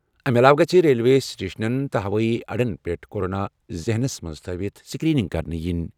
اَمہِ علاوٕ گٔژھِ ریلوے سٹیشنَن تہٕ ہوٲیی اڈَن پٮ۪ٹھ کورونا ذہنس منٛز تھٲوِتھ سکریننگ کرنہٕ یِنۍ۔